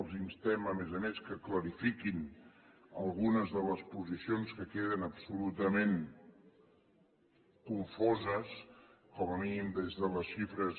els instem a més a més que clarifiquin algunes de les posicions que queden absolutament confoses com a mínim des de les xifres